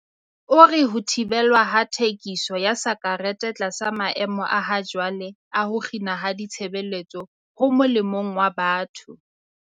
O re ho thibelwa ha thekiso ya sakerete tlasa maemo a hajwale a ho kginwa ha ditshebeletso ho molemong wa batho.